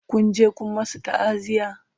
Kun je Kun masu ta'aziya?